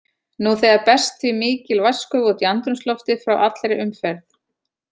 Nú þegar berst því mikil vatnsgufa út í andrúmsloftið frá allri umferð.